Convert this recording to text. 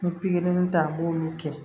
N ye pikiri ta an b'olu kɛ